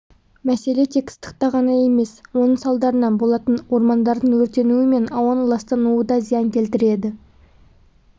мәселе тек ыстықта ғана емес оның салдарынан болатын ормандардың өртенуі мен ауаның ластануы да зиян келтіреді